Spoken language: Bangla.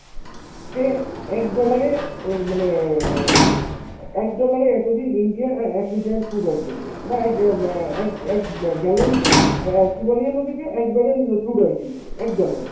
সে এক dollar এ উম মানে এক dollar এ এতদিন India অ্যাঁ এক litre food oil কিনতো, বা এক গ্যা ম্যা এক এক এক ব gallon, অ্যাঁ অ্যাঁ কী বলে যেন ওটাকে এক barrel crude oil কিনতো এক dollar এ।